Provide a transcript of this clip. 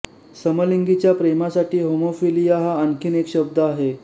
समलिंगीच्या प्रेमासाठी होमोफिलीया हा आणखी एक शब्द आहे